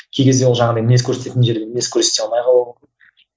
кей кезде ол жаңағыдай мінез көрсететін жерде мінез көрсете алмай қалуы мүмкін